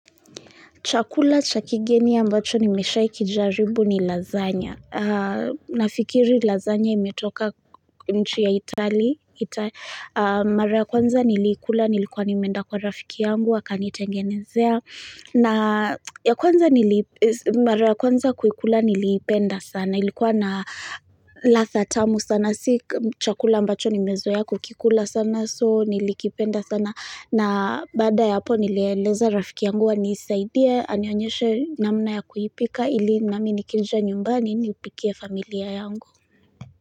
Chakula cha kigeni ya ambacho nimeshaikijaribu ni lasagna. Nafikiri lasagna imetoka nchi ya Itali. Mara ya kwanza niliikula nilikwa nimenda kwa rafiki yangu akanitengenezea. Ya kwanza kuikula niliipenda sana. Ilikuwa na ladha tamu sana. Si chakula ambacho nimezoea kukikula sana so nilikipenda sana. Na baada ya hapo nilieleza rafiki yangu aniisaidie, anionyeshe namna ya kuipika ili nami nikija nyumbani nipikie familia yangu.